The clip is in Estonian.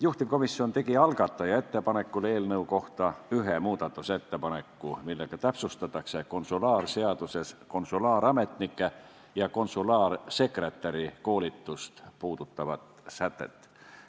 Juhtivkomisjon tegi algataja ettepanekul eelnõu kohta ühe muudatusettepaneku, millega täpsustatakse konsulaarseaduses konsulaarametniku ja konsulaarsekretäri koolitust puudutavat sätet.